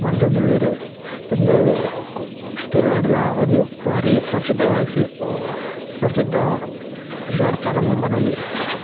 ಮಂತೊಂದುಲ್ಲೆರ್ ಉಂದು ತುಲುನಾಡುದ ಒಂಜಿ ಬಾರಿ ಪ್ರಸಿದ್ದ ಉಹ್ ಪ್ರಸಿದ್ದ ದೇವಸ್ಥಾನ ಇಂದ್ ಪನೊಲಿ.